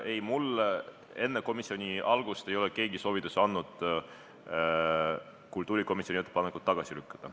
Ei, mulle ei ole keegi enne komisjoni koosoleku algust andnud soovitusi kultuurikomisjoni ettepanek tagasi lükata.